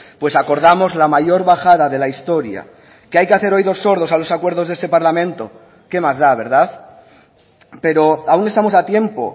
pues acordamos la mayor bajada de la historia que hay que hacer oídos sordos a los acuerdos de este parlamento qué más da verdad pero aún estamos a tiempo